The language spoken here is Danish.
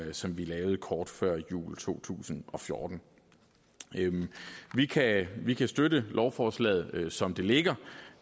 som vi lavede kort før jul to tusind og fjorten vi kan vi kan støtte lovforslaget som det ligger